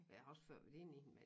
Jeg har også før været inde i den men